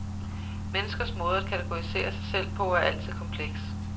Menneskers måde at kategorisere sig selv på er altid kompleks.